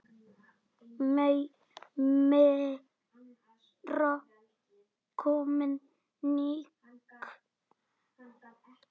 Meira koníak?